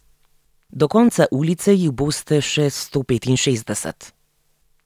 Do konca ulice jih boste še sto petinšestdeset.